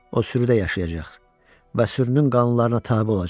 O sürüdə yaşayacaq və sürünün qanunlarına tabe olacaq.